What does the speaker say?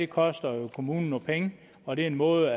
koster jo kommunen nogle penge og det er en måde